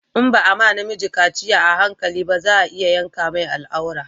In ba a ma na miji kaciya a hankali ba za a iya yanka mai al'aura